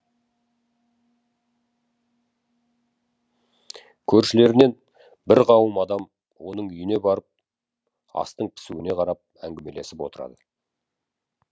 көршілерінен бір қауым адам оның үйіне барып астың пісуіне қарап әңгімелесіп отырады